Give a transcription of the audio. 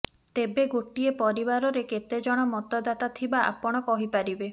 ତେବେ ଗୋଟିଏ ପରିବାରରେ କେତେଜଣ ମତଦାତା ଥିବା ଆପଣ କହି ପାରିବେ